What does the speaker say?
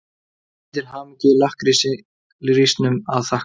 Mikið til hamingju-lakkrísnum að þakka.